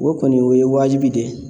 O kɔni o ye wajibi de ye